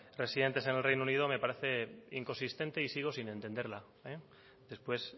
residentes en el reino unido me parece inconsistente y sigo sin entenderla después